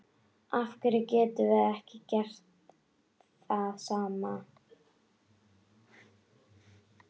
Af hverju getum við ekki gert það sama?